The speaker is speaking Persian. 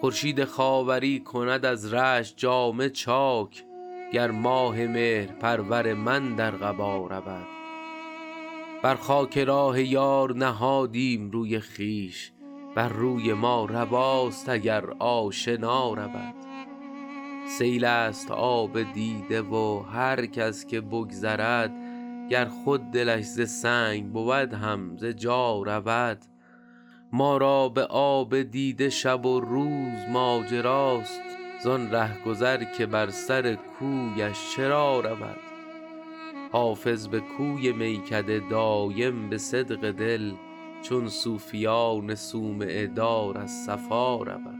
خورشید خاوری کند از رشک جامه چاک گر ماه مهرپرور من در قبا رود بر خاک راه یار نهادیم روی خویش بر روی ما رواست اگر آشنا رود سیل است آب دیده و هر کس که بگذرد گر خود دلش ز سنگ بود هم ز جا رود ما را به آب دیده شب و روز ماجراست زان رهگذر که بر سر کویش چرا رود حافظ به کوی میکده دایم به صدق دل چون صوفیان صومعه دار از صفا رود